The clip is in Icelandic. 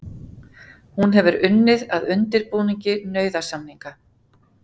Hún hefur unnið að undirbúningi nauðasamninga